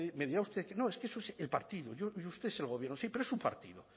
me dirá usted que no es que eso es el partido y usted es el gobierno sí pero es su partido